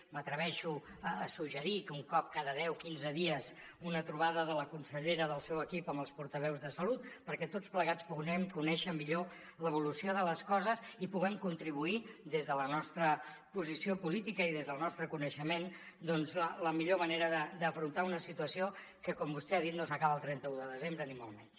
m’atreveixo a suggerir un cop cada deu quinze dies una trobada de la consellera del seu equip amb els portaveus de salut perquè tots plegats puguem conèixer millor l’evolució de les coses i puguem contribuir des de la nostra posició política i des del nostre coneixement a la millor manera d’afrontar una situació que com vostè ha dit no s’acaba el trenta un de desembre ni molt menys